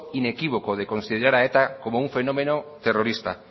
inequívoco de considerar a eta como un fenómeno terrorista